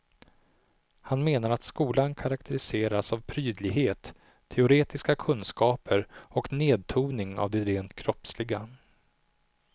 Han menar att skolan karakteriseras av prydlighet, teoretiska kunskaper och nedtoning av det rent kroppsliga.